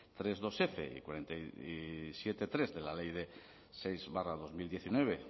tres punto dosf y siete punto tres de la ley seis barra dos mil diecinueve